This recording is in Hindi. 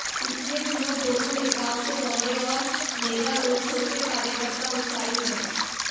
पिछले दिनों दोनों नेताओं के दौरे और मेगा रोड शो से कार्यकर्ता उत्साहित हैं